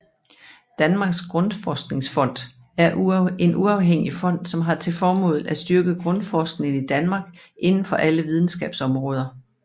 Danmarks Grundforskningsfond er en uafhængig fond som har til formål at styrke grundforskningen i Danmark inden for alle videnskabsområder